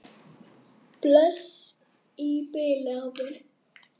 Bless í bili, afi minn.